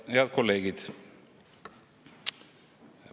Head kolleegid!